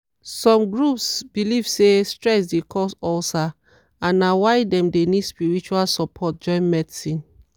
some groups believe say stress dey cause ulcer and na why dem dey need spiritual support join medicine.